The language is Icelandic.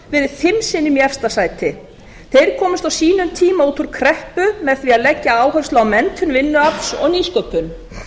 sinnum í efsta sæti þeir komust á sínum tíma út úr kreppu með því að leggja áherslu á menntun vinnuafls og nýsköpun